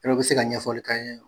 bɛ se ka ɲɛfɔli k'an ye